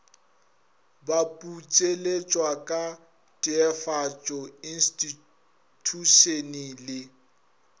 baputseletšwa ka teefatšo instithušene le